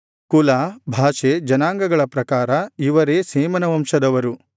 ಕುಲ ಭಾಷೆ ಜನಾಂಗಗಳ ಪ್ರಕಾರ ಇವರೇ ಶೇಮನ ವಂಶದವರು